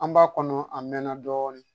An b'a kɔnɔ a mɛnna dɔɔnin